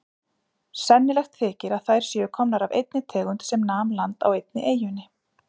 Sennilegt þykir að þær séu komnar af einni tegund sem nam land á einni eyjunni.